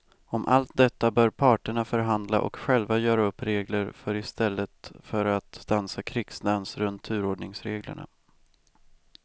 Om allt detta bör parterna förhandla och själva göra upp regler för i stället för att dansa krigsdans runt turordningsreglerna.